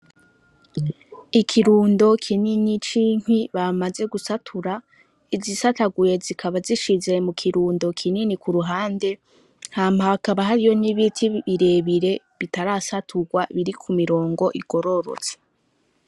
Ikirundo kininyi cinki bamaze gusatura izisataguye zikaba zishize mu kirundo kinini ku ruhande nha mpakaba hariyo nk'ibiti birebire bitarasaturwa biri ku mirongo igororotse.